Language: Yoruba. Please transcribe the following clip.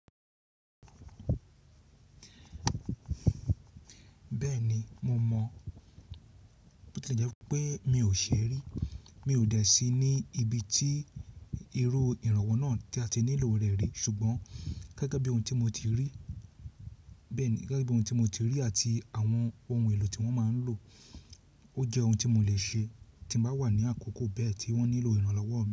Bẹ́ẹ̀ni mo mọ̀ bó ti lè jẹ́ pé mi ò ṣe rí, mi ò dẹ̀ sí ní ibi tí irú ìrànwọ́ náà tí a ti nílò rẹ̀ rí ṣùgbọ́n gẹ́gẹ́ bí ohun tí mo ti rí, bẹ́ẹ̀ni gẹ́gẹ́ bí ohun tí mo ti rí àti àwọn ohun èlò tí wọ́n máa ń lò ó jẹ́ ohun tí mo le ṣe tí mo bá wà ní àkókò bẹ́ẹ̀ tí wọ́n nílò ìrànlọ́wọ́